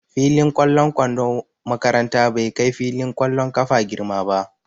Fillin ƙwallon kwandon makaranta bai kai filin ƙwallon ƙafa girma ba.